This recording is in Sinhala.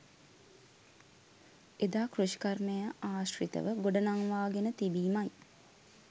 එදා කෘෂිකර්මය ආශ්‍රිතව ගොඩ නංවාගෙන තිබීමයි.